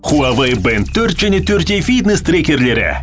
хуавей бэнд төрт және төрт е фитнес трекерлері